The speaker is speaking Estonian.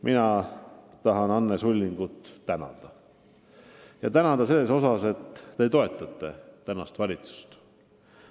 Mina tahan tänada Anne Sullingut, et te toetate praegust valitsust.